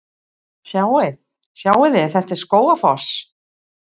Sjáiði! Þetta er Skógafoss.